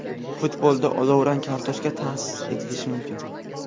Futbolda olovrang kartochka ta’sis etilishi mumkin.